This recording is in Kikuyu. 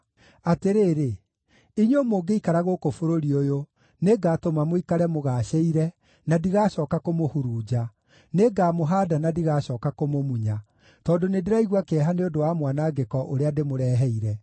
‘Atĩrĩrĩ, inyuĩ mũngĩikara gũkũ bũrũri ũyũ, nĩngatũma mũikare mũgaacĩire, na ndigacooka kũmũhurunja; nĩngamũhaanda na ndigacooka kũmũmunya, tondũ nĩndĩraigua kĩeha nĩ ũndũ wa mwanangĩko ũrĩa ndĩmũreheire.